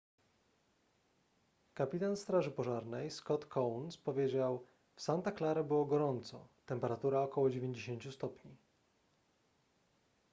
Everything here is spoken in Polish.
kapitan straży pożarnej scott kouns powiedział w santa clara było gorąco temperatura około 90 stopni